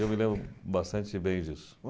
Eu me lembro bastante bem disso.